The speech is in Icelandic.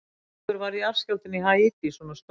Af hverju varð jarðskjálftinn á Haítí svona stór?